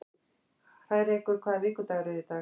Hrærekur, hvaða vikudagur er í dag?